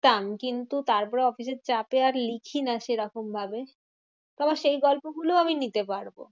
তাম কিন্তু তারপরে অফিসের চাপে আর লিখিনা সেরকম ভাবে, তো আমার সেই গল্প গুলোও আমি নিতে পারবো।